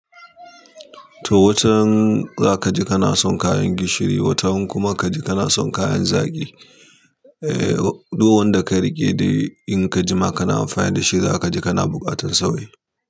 To watan za ka ji kana son kayan gishiri, watan kuma ka ji kana son kayan zagi. Eh, duk wanda ka riƙe da in ka jima kana amfani da shi, za ka ji kana buƙatan sauyi.